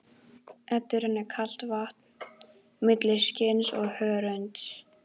Eddu rennur kalt vatn milli skinns og hörunds.